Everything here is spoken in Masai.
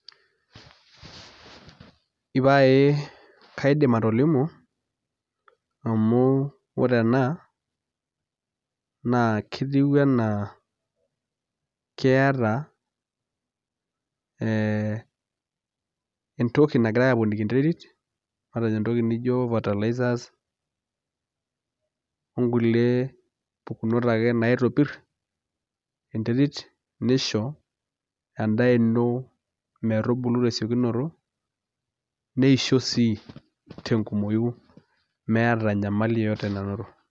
Ipaaye kaidim atolimu amu ore ena naa ketiu enaa keeta ee entoki nagirai aaponiki enterit, matejo entoki nijo fertilizers ongulie tokitin ake naitopir enterit nisho endaa ino metubulu tesiokinoto neisho sii tenkumoyu meeta enyamali yeyoto nanoto.